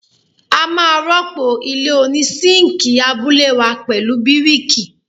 A máa rọ́pò ilé oní síǹkì abúlé wá pẹ̀lú bíríkì.